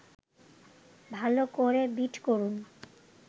ভালো করে বিট করুন